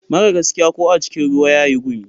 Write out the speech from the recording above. Mara gaskiya ko a cikin ruwa yayi gumi.